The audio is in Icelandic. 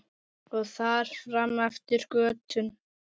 Og þar fram eftir götum.